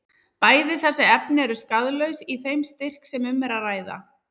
Bæði þessi efni eru skaðlaus í þeim styrk sem um er að ræða.